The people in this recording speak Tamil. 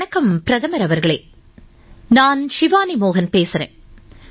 வணக்கம் பிரதமர் அவர்களே நான் ஷிவானி மோஹன் பேசுகிறேன்